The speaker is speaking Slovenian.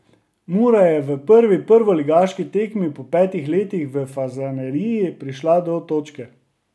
Mura je v prvi prvoligaški tekmi po petih letih v Fazaneriji prišla do točke.